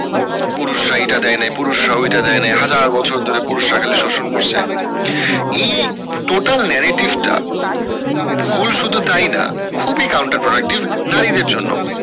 পুরুষরা এটা দেয় না পুরুষরা ঐটা দেয়না হাজার বছর ধরে পুরুষরা খালি শোষণ করছে এই total narrative টা ভুল শুধু তাই না খুবই নারীদের জন্য